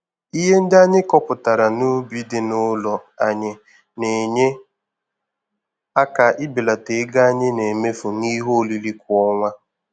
Ihe ndị anyị kọpụtara n'ubi dị n'ụlọ anyị na-enye aka ibelata ego anyị na-emefu n'ihe oriri kwa ọnwa.